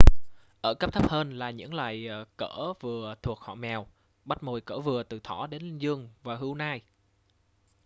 ở cấp thấp hơn là những loài cỡ vừa thuộc họ mèo bắt mồi cỡ vừa từ thỏ đến linh dương và hươu nai